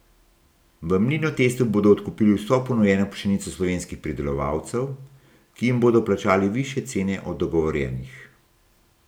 V Mlinotestu bodo odkupili vso ponujeno pšenico slovenskih pridelovalcev, ki jim bodo plačali višje cene od dogovorjenih.